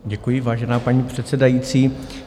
Děkuji, vážená paní předsedající.